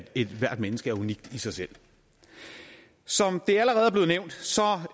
ethvert menneske er unikt i sig selv som